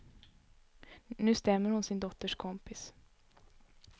Nu stämmer hon sin dotters kompis.